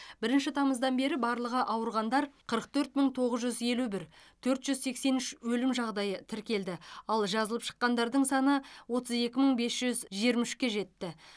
бірінші тамыздан бері барлығы ауырғандар қырық төрт мың тоғыз жүз елу бір төрт жүз сексен үш өлім жағдайы тіркелді ал жазылып шыққандардың саны отыз екі мың бес жүз жиырма үшке жетті